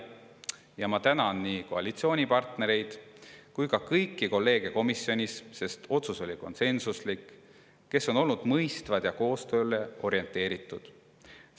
Ja ma tänan nii koalitsioonipartnereid kui ka kõiki kolleege komisjonis – sest otsus oli konsensuslik –, kes on olnud mõistvad ja koostööle orienteeritud.